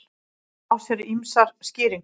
Það á sér ýmsar skýringar.